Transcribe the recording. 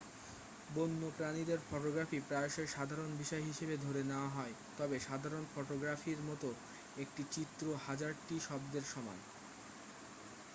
বন্যপ্রাণীদের photography প্রায়শই সাধারণ বিষয় হিসাবে ধরে নেওয়া হয় তবে সাধারণ ফটোগ্রাফির মতো একটি চিত্র হাজারটি শব্দের সমান